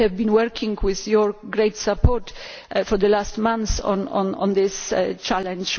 We have been working with your great support over the last months on this challenge.